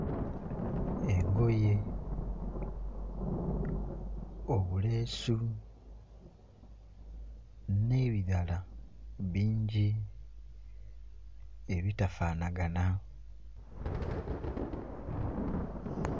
Engoye, obuleesu n'ebirala bingi ebitafaanagana.